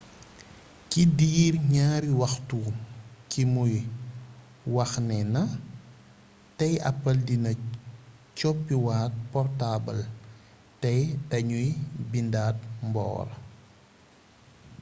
ci diir ñaari waxtu ci muy wax nee na tey apple dina coppi waat portaabal tey dañuy bindaat mboor''